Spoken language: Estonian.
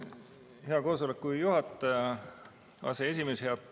Hea koosoleku juhataja, aseesimees!